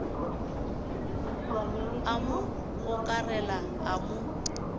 a mo gokarela a mo